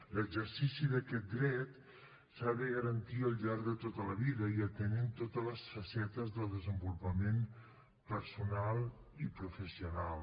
l’exercici d’aquest dret s’ha de garantir al llarg de tota la vida i atenent totes les facetes del desenvolupament personal i professional